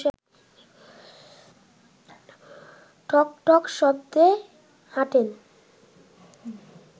ঠকঠক শব্দে হাঁটেন